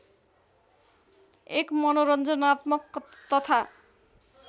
एक मनोरञ्जनात्मक तथा